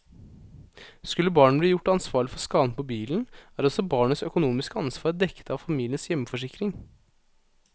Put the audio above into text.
Skulle barnet bli gjort ansvarlig for skaden på bilen, er også barnets økonomiske ansvar dekket av familiens hjemforsikring.